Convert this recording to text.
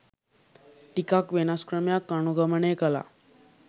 ටිකක් වෙනස් ක්‍රමයක් අනුගමනය කලා.